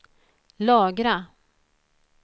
lagra